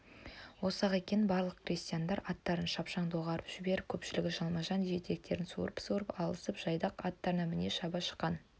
осы-ақ екен барлық крестьяндар аттарын шапшаң доғарып жіберіп көпшілігі жалма-жан жетектерін суырып-суырып алысып жайдақ аттарына міне-міне шаба шыққан